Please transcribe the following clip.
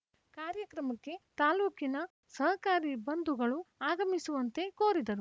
ಕಾರ್ಯಕ್ರಮಕ್ಕೆ ತಾಲೂಕಿನ ಸಹಕಾರಿ ಬಂಧುಗಳು ಆಗಮಿಸುವಂತೆ ಕೋರಿದರು